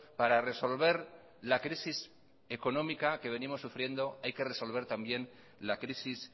para resolver la crisis económica que venimos sufriendo hay que resolver también la crisis